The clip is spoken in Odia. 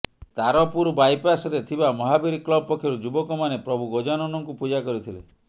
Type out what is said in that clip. ତାରପୁର ବାଇପାସ ରେ ଥିବା ମହାବୀର କ୍ଲବ ପକ୍ଷରୁ ଯୁବକମାନେ ପ୍ରଭୁ ଗଜାନନ ଙ୍କୁ ପୂଜା କରିଥିଲେ